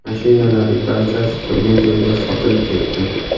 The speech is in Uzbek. Mashinalarning barchasi turgan joyida sotilib ketdi.